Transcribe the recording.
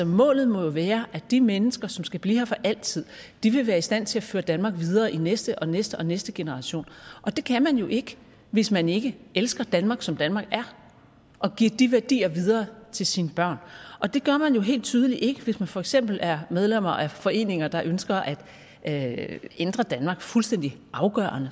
målet må jo være at de mennesker som skal blive her for altid vil være i stand til at føre danmark videre i næste og næste og næste generation og det kan man jo ikke hvis man ikke elsker danmark som danmark er og giver de værdier videre til sine børn og det gør man jo helt tydeligt ikke hvis man for eksempel er medlem af foreninger der ønsker at at ændre danmark fuldstændig afgørende